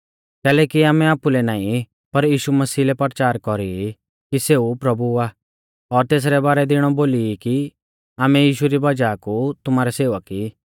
कैलैकि आमै आपुलै नाईं पर यीशु मसीह लै परचार कौरी ई कि सेऊ प्रभु आ और तेसरै बारै दी इणौ बोली ई कि आमै यीशु री वज़ाह कु तुमारै सेवक ई